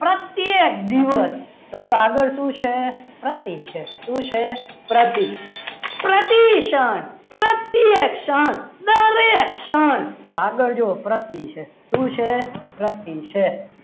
પ્રત્યેક દિવસ તો જો આગળ શું છે પ્રતિ છે શું છે પ્રતિ છે પ્રતિષ્ઠા પ્રત્યક્ષણ દરેક ક્ષણ તો આગળ જોવો પ્રત્યે છે શું છે પ્રતિ છે.